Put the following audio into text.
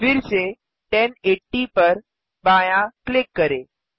फिरसे 1080 पर बायाँ क्लिक करें